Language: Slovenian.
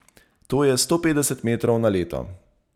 To je sto petdeset metrov na leto.